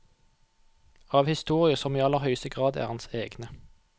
Av historier som i aller høyeste grad er hans egne.